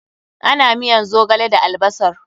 Ana miyan zogale da albasar.